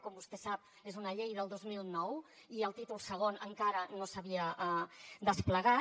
com vostè sap és una llei del dos mil nou i el títol segon encara no s’havia desplegat